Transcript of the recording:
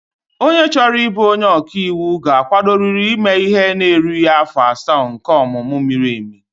Onye chọrọ ịbụ onye ọka iwu ga-akwadorịrị ime ihe na-erughị afọ asaa nke ọmụmụ miri emi